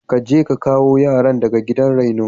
Kaje ka kawo yaran daga gidan raino.